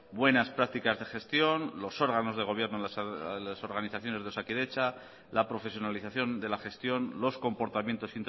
buenas practicas de gestión los órganos de gobierno en las organizaciones de osakidetza la profesionalización de la gestión los comportamientos